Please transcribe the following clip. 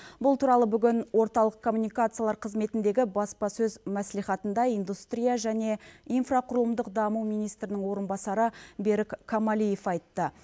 бұл туралы бүгін орталық коммуникациялар қызметіндегі баспасөз мәслихатында индустрия және инфрақұрылымдық даму министрінің орынбасары берік камалиев айтты